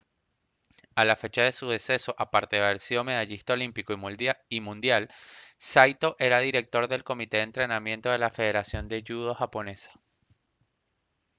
a la fecha de su deceso aparte de haber sido medallista olímpico y mundial saito era director del comité de entrenamiento de la federación de judo japonesa